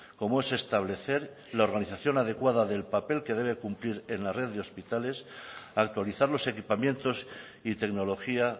como es establecer la organización adecuada del papel que debe cumplir en la red de hospitales actualizar los equipamientos y tecnología